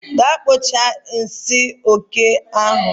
Jee kpocha nsị oké ahụ